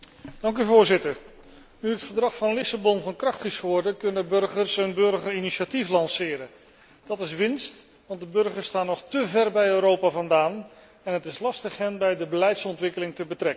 Voorzitter, nu het Verdrag van Lissabon van kracht is geworden, kunnen burgers een burgerinitiatief lanceren. Dat is winst, want de burgers staan nog te ver bij Europa vandaan en het is lastig hen bij de beleidsontwikkeling te betrekken.